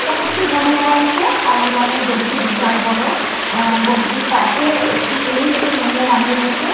এইখানে একটি গরু দেখা যাচ্ছে। কালো রংয়ের গরুটি বিশাল বড়। আ গরুটির পাশে একটি পুরুষ একটি মহিলা দাঁড়িয়ে রয়েছে।